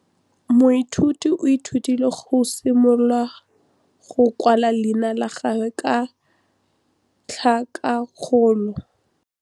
Moithuti o ithutile go simolola go kwala leina la gagwe ka tlhakakgolo.